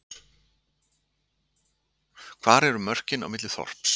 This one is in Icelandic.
hvar eru mörkin á milli þorps